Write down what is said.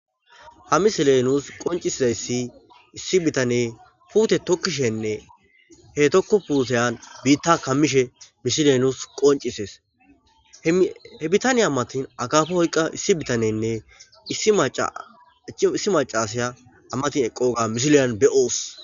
Ha misilenus qoncisizayssi issi bitane puute tokkishenne he tokko puuseyan biitta kammishe mishilenus qoncisees he bitaniya ammatin agafe hoyqa issi bitanenne issi macasaya ammatin eqqooga mishileyan be'oos.